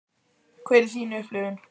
Hver er þín upplifun?